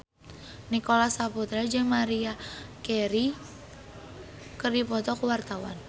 Nicholas Saputra jeung Maria Carey keur dipoto ku wartawan